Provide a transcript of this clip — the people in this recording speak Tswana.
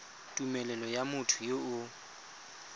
tumelelo ya motho yo o